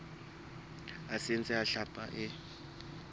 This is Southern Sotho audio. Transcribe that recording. a saense a hlapi e